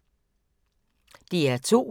DR2